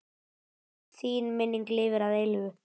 Þín minning lifir að eilífu.